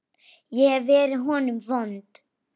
Ég hef verið honum vond.